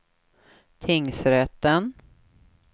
tingsrätten